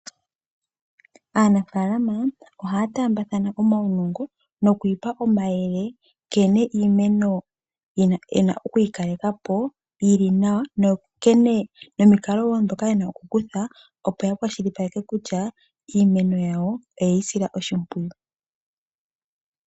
Aanafaalama ohaya taambathana omaunongo noku ipa omayele nkene iimeno ye na okuyi kaleka po yi li nawa nomikalo wo ndhoka ye na okukutha, opo ya kwashilipaleke kutya iimeno yawo oye yi sila oshimpwiyu.